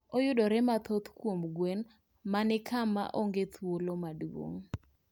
Oyudore mathoth kuom gwen ma kama onge thuolo maduong